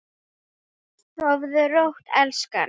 Sofðu rótt elskan.